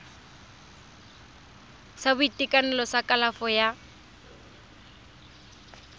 sa boitekanelo sa kalafo ya